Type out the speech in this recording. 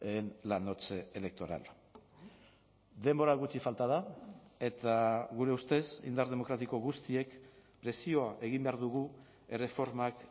en la noche electoral denbora gutxi falta da eta gure ustez indar demokratiko guztiek presioa egin behar dugu erreformak